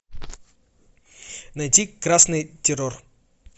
найти красный террор